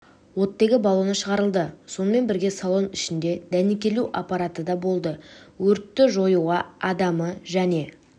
оттегі баллоны шығарылды сонымен бірге салон ішінде дәнекерлеу аппараты да болды өртті жоюға адамы және